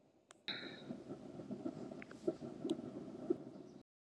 .